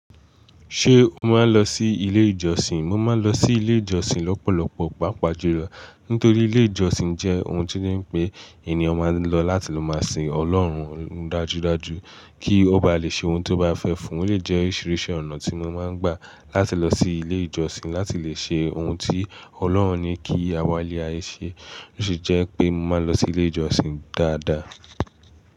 Ṣé o máa ń lọ sí ilé ìjọsìn? Mo máa ń lọ sí ilé ìjọsìn lọ́pọ̀lọpọ̀, pàápàá julo Nítorí ilé ìjọsìn jẹ́ ohun tí ó dè pé ènìyàn máa ń lọ láti ló máa sin Ọlọ́run dájúdájú kí ó bá lè ṣe ohun tó bá fẹ́ fún. Ó lè jẹ́ oríṣiríṣi ọ̀nà tí mo máa ń gbà láti lọ sí ilé ìjọsìn láti lè ṣe ohun tí Ọlọ́run ní kí àwọn lààyè ṣe, ó sì jẹ́ pé mo máa lọ sí ilé ìjọsìn dáadáa.